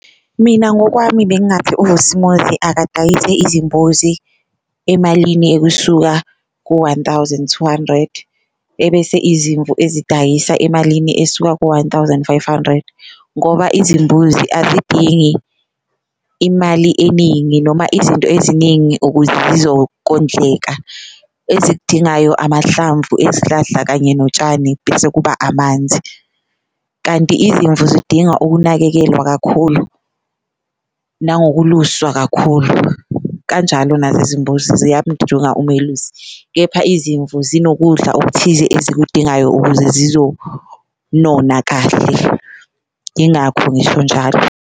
Mina ngokwami bengathi uVusimuzi akadayise izimbuzi emalini ekusuka ku-one thousand two hundred, ebese izimvu ezidayisa emalini esuka ku-one thousand five hundred. Ngoba izimbuzi azidingi imali eningi noma izinto eziningi ukuze zizokondleka, ezikudingayo amahlamvu ezihlahla kanye notshani bese kuba amanzi. Kanti izimvu zidinga ukunakekelwa kakhulu nangokuluswa kakhulu kanjalo nazo izimbuzi umelusi, kepha izimvu zinokudla okuthize ezikudingayo ukuze zizonona kahle ingakho ngisho njalo.